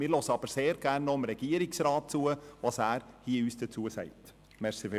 Wir hören aber sehr gerne noch vom Regierungsrat, was er uns dazu sagen wird.